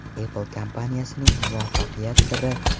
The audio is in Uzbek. Apple kompaniyasining muvaffaqiyat siri.